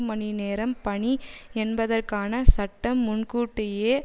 மணி நேரம் பணி என்பதற்கான சட்டம் முன்கூட்டியே